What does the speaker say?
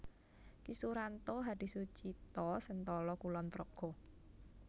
Ki Suranto Hadisucito Sentolo Kulon Progo